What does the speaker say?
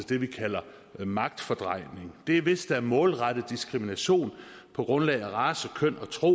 det vi kalder magtfordrejning det er hvis der er målrettet diskrimination på grundlag af race køn og tro